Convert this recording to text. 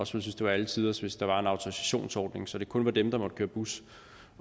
synes det var alle tiders hvis der var en autorisationsordning så det kun var dem der måtte køre bus